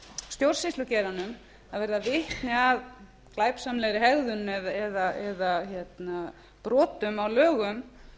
stjórnsýslugeiranum verða vitni að glæpsamlegri hegðun eða brotum á lögum að láta vita